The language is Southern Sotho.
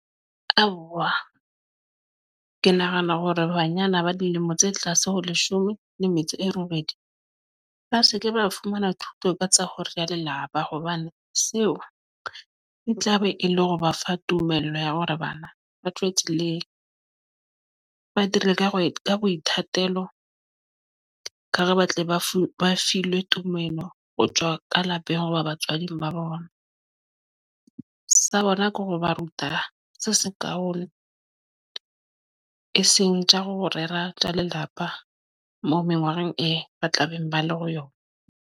Aowa, ke nahana hore banyana ba dilemo tse tlase ho leshome le metso e robedi ba se ke ba fumana thuto ka tsa ho rera lelapa hobane seo e tlabe e le hore ba fa tumello ya hore bana ba tswe tseleng. Ba turele ka hare ka boithatelo ke hore ba tle ba fuwe filwe tumello ho tswa ka lapeng ho batswadi ba bona. Sa bona ko ho ba ruta se se kahong e seng tsa ho rera tsa lelapa moo mengwaheng ee ba tla beng ba le ho yona.